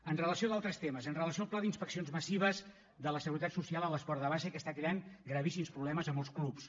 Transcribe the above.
amb relació a d’altres temes amb relació al pla d’inspeccions massives de la seguretat social a l’esport de base que està creant gravíssims problemes a molts clubs